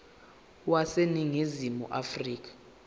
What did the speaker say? wase ningizimu afrika